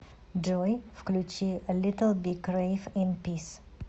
джой включи литл биг рэйв ин пис